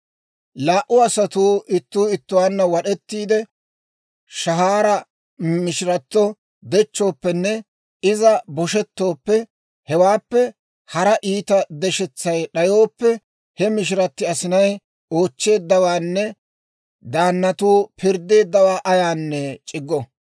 «Laa"u asatuu ittuu ittuwaanna wad'ettiidde shahaara mishiratto dechchooppenne iza boshettooppe, hewaappe hara iita deshetsay d'ayooppe, he mishiratti asinay oochcheeddawaanne daannatuu pirddeeddawaa ayaanne c'iggo.